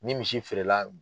Ni misi feere la